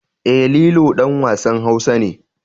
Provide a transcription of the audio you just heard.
E, Lilo ɗan wasan Hausa ne.